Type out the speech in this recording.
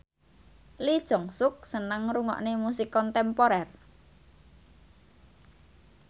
Lee Jeong Suk seneng ngrungokne musik kontemporer